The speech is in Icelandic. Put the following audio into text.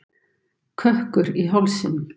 Kökkur í hálsinum.